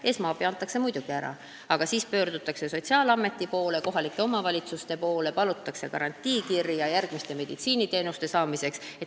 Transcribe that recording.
Esmaabi antakse muidugi ära, aga siis pöördutakse sotsiaalameti, kohalike omavalitsuste poole ja palutakse garantiikirja järgmiste meditsiiniteenuste saamiseks.